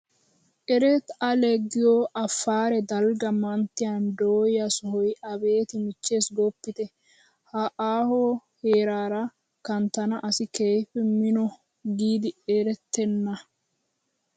Erttaa ale giyoo afaare dalgga manttiyan doyaa sohoyi abeet michches gooppite! Ha aohuwaa heeraara kanttana asi keehippe mino giidi etettana.